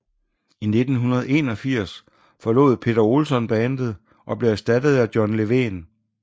I 1981 forlod Peter Olsson bandet og blev erstattet af John Levén